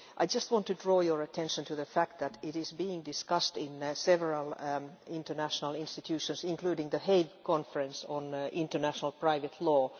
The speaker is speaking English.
I just want to draw your attention to the fact that it is being discussed in several international institutions, including the Hague Conference on Private International Law.